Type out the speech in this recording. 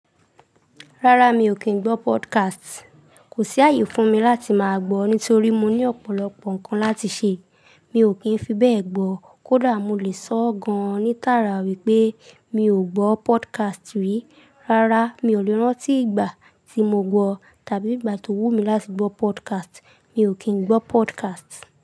Rárá mi ò kín gbọ́ podcast. Kò sí ààyè fún mi láti máa gbọ́ ní torí mo ní ọ̀pọ̀lọpọ̀ nǹkan láti ṣe. Mi ò kín fi bẹ́ẹ̀ gbọ. Kódà mo lè sọ ọ́ gan-an ní tààrà wípé mi ò gbọ́ podcast rí. Rárá mi ò lè rántí ìgbà tí mo gbọ́ tàbí ìgbà tó wù mí láti gbọ́ podcast. Mi ò kín gbọ́ podcast.